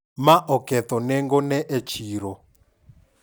Ma oketho nengo ne e chiro.